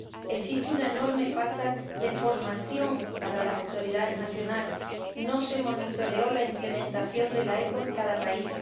Existe una enorme falta de formación para las autoridades nacionales no se monitoreó la implementación de la OEP en cada país